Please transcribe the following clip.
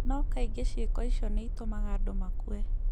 No kaingĩ ciĩko icio nĩ itũmaga andũ makue